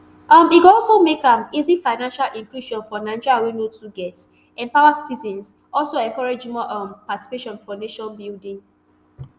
um e go also make am easy financial inclusion for nigerians wey no too get empower citizens also encourage more um participation for nation building